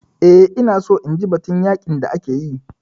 Eh, ina so inji batun yaƙin da ake yi